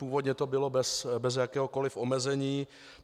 Původně to bylo bez jakéhokoliv omezení.